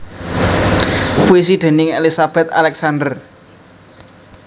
Puisi déning Elizabeth Alexander